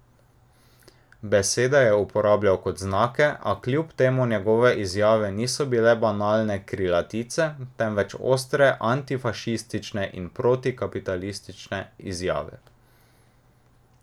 Besede je uporabljal kot znake, a kljub temu njegove izjave niso bile banalne krilatice, temveč ostre antifašistične in protikapitalistične izjave.